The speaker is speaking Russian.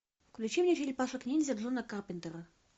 включи мне черепашек ниндзя джона карпентера